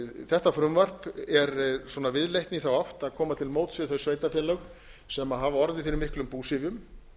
þetta frumvarp er viðleitni í þá átt að koma til móts við þau sveitarfélög sem hafa orðið fyrir miklum búsifjum